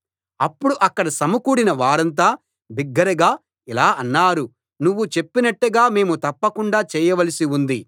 అప్పుడు అక్కడ సమకూడిన వారంతా బిగ్గరగా ఇలా అన్నారు నువ్వు చెప్పినట్టుగా మేము తప్పకుండా చేయవలసి ఉంది